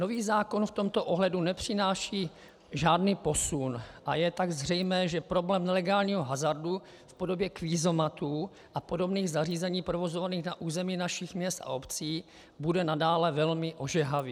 Nový zákon v tomto ohledu nepřináší žádný posun a je tak zřejmé, že problém nelegálního hazardu v podobě kvízomatů a podobných zařízení provozovaných na území našich měst a obcí bude nadále velmi ožehavý.